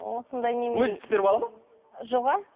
осындай өзі пісіріп алады ма жоға